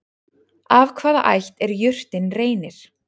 Af hvaða ætt er jurtin Reynir?